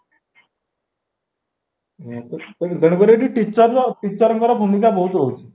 ତେଣୁକରି ଏଠି teacher ର teacher ଙ୍କର ଭୂମିକା ବହୁତ ରହୁଛି